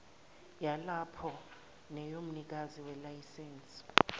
yalapho neyomnikazi welayisense